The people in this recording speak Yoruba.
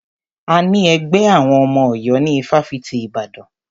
A ní ẹgbẹ́ àwọn ọmọ Ọ̀yọ́ ní ifáfitì Ibadan.